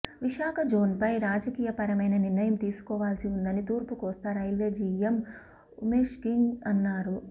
విశాఖ జోన్పై రాజకీయపరమైన నిర్ణయం తీసుకోవాల్సి ఉందని తూర్పు కోస్తా రైల్వే జీఎం ఉమేష్సింగ్ అన్నారు